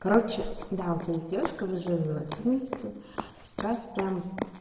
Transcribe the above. короче да у тебя есть девушка вы живёте вместе сейчас прям